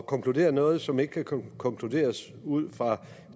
konkludere noget som ikke kan konkluderes ud fra